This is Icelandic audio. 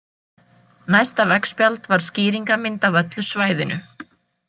Næsta veggspjald var skýringarmynd af öllu svæðinu.